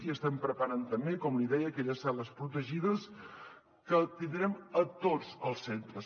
i estem preparant també com li deia aquelles cel·les protegides que tindrem a tots els centres